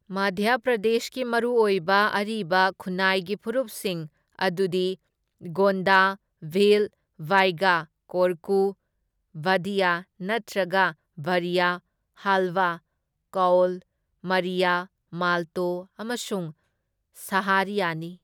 ꯃꯙ꯭ꯌ ꯄ꯭ꯔꯗꯦꯁꯀꯤ ꯃꯔꯨꯑꯣꯏꯕ ꯑꯔꯤꯕ ꯈꯨꯟꯅꯥꯏꯒꯤ ꯐꯨꯔꯨꯞꯁꯤꯡ ꯑꯗꯨꯗꯤ ꯒꯣꯟꯗ, ꯚꯤꯜ, ꯕꯥꯏꯒꯥ, ꯀꯣꯔꯀꯨ, ꯚꯗꯤꯌꯥ ꯅꯠꯇ꯭ꯔꯒ ꯚꯔꯤꯌꯥ, ꯍꯥꯜꯕꯥ, ꯀꯧꯜ, ꯃꯔꯤꯌꯥ, ꯃꯥꯜꯇꯣ ꯑꯃꯁꯨꯡ ꯁꯥꯍꯥꯔꯤꯌꯥꯅꯤ꯫